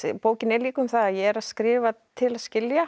bókin er líka um það að ég er að skrifa til að skilja